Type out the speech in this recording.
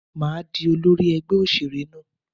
Màá di olórí ẹgbẹ́ òṣèré náà.